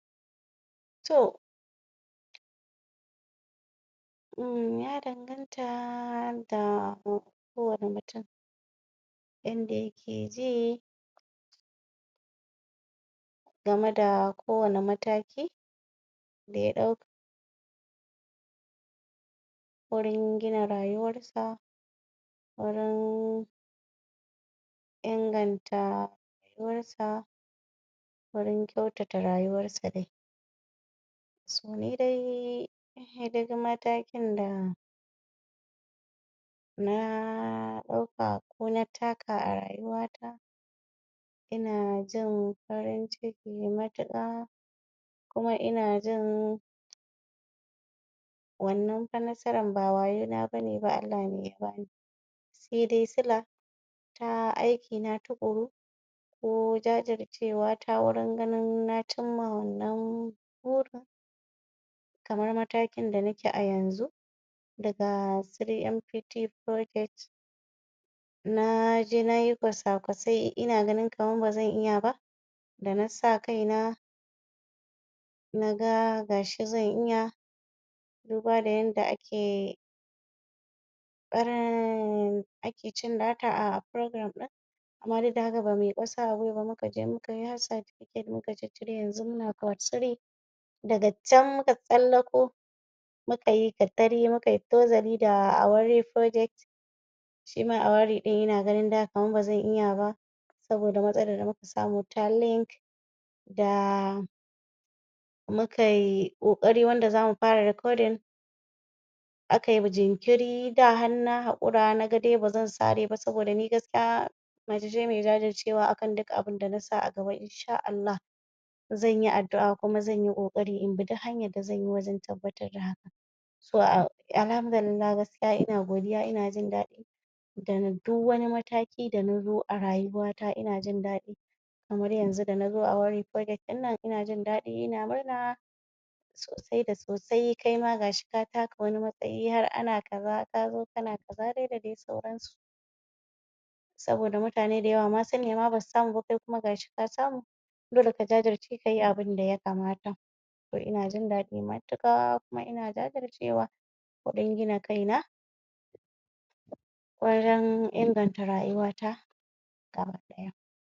To ya danganta da kowanne mutum yanda yake ji game da kowanne mataki daya dauka gurin gina rayuwarsa gurin inganta rayuwarsa gurin kyautata rayuwarsa dai to nidai nidai matakin da na ɗauka ko na taka a rayuwata ina jin farin ciki matuƙa kuma ina jin wannan fa nasarar ba wayo na bane Allah ne ya bani sai dai sila na aikina tuƙuru ko jajircewata gurin ganin na cimma wannan burin kamar matakin da nake a yanzu daga tiri MPT firojat naje nayi kwasakwasai ina ganin kamar bazan iya ba da nasa kaina naga gashi zan iya duba da yanda ake ake cin data a firogiram din amma duk da haka bamuyi ƙasa a gwiwa ba muka je mukayi har satifiket muka ciccire yanzu muna fot tiri daga can muka tsallako mukayi katari mukayi tozali da awari firojat shima awari ɗin ina gani da kamar bazan iya ba saboda matsalar da muka samu ta lik da mukayi kokari wanda zamu fara recording akayi jinkiri da har na hakura naga dai bazan sareba saboda ni gaskiya macece me jajircewa akan dukkan abunda nasa a gaba insha Allah xanyi addu'a kuma zanyi ƙoƙari inbi duk hanyar da zanyi wajan tabbatar da hakan so alhamdulillah gaskiya kuma ina godiya ina jindadi da duk wani mataki da nazo a rayuwata ina jindadi kamar yanzu da nazo awari firojat ɗin nan ina jindaɗi ina murna sosai da sosai kaima gashi ka taka wani matsayi har ana kaza kazo kana kaza da dai sauransu saboda mutane da yawa sun nema basu samu ba kai kuma gashi ka samu dole ka jajirce kayi abunda ya kamata kuma ana jindaɗi matuka kuma ina jajircewa wajan gina kaina wajan inganta rayuwata